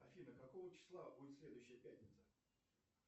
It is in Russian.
афина какого числа будет следующая пятница